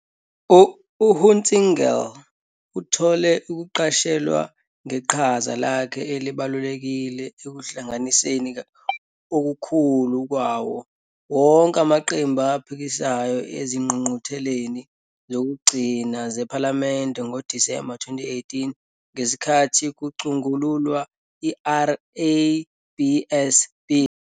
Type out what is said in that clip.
UHunsinger uthole ukuqashelwa ngeqhaza lakhe elibalulekile ekuhlanganiseni okukhulu kwawo wonke amaqembu aphikisayo ezingqungqutheleni zokugcina zePhalamende ngoDisemba 2018 ngesikhathi kucutshungulwa 'iRABS Bill'.